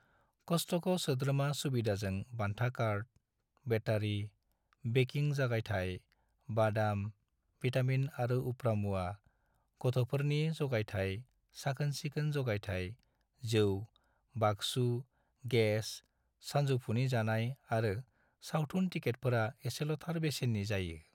कस्टक' सोद्रोमा सुबिदाजों बान्था कार्ड, बेटारी, बेकिं जगायथाय, बादाम, विटामिन आरो उप्रा मुवा, गथ'फोरनि जगायथाय, साखोन-सिखोन जगायथाय, जौ, बाक्सु, गेस, सानजौफुनि जानाय आरो सावथुन टिकेटफोरा एसेल'थार बेसेननि जायो।